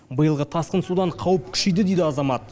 биылғы тасқын судан қауіп күшейді дейді азамат